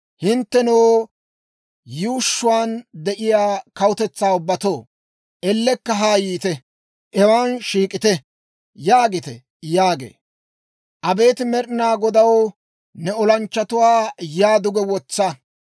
Hinttenoo, yuushshuwaan de'iyaa kawutetsaa ubbatoo, ellekka haa yiite; hewan shiik'ite› yaagite» yaagee. Abeet Med'inaa Godaw, ne olanchchatuwaa yaa duge wotsa!